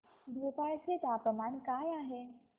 भोपाळ चे तापमान काय आहे